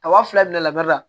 Kaba fila bila la bari la